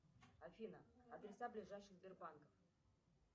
афина адреса ближайших сбербанков